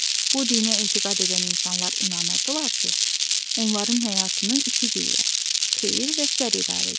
Bu dinə etiqad edən insanlar inanırdılar ki, onların həyatını iki qüvvə, xeyir və şər idarə edir.